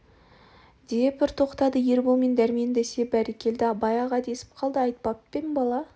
деп бір тоқтады ербол мен дәрмен бәсе бөрекелді абай аға десіп қалды айтпап па ем бала